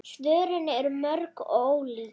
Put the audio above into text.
Svörin eru mörg og ólík.